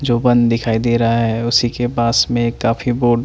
जो बन दिखाई देरहा है उसी के पास में एक काफी बोर्ड --